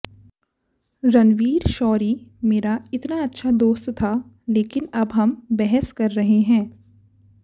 रणवीर शौरी मेरा इतना अच्छा दोस्त था लेकिन अब हम बहस कर रहे हैं